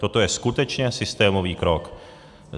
Toto je skutečně systémový krok.